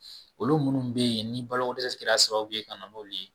Olu munnu be yen ni balo ko dɛsɛ kɛra sababu ye ka na n'olu ye.